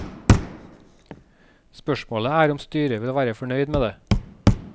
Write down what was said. Spørsmålet er om styret vil være fornøyd med det.